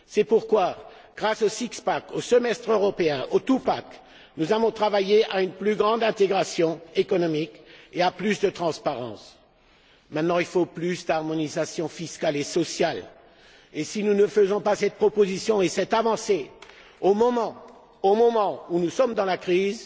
C'est pourquoi, grâce au six pack, au semestre européen, au two pack nous avons travaillé à une plus grande intégration économique et à plus de transparence. Il faut maintenant plus d'harmonisation fiscale et sociale. Si nous ne faisons pas cette proposition et cette avancée, au moment où nous sommes dans la crise,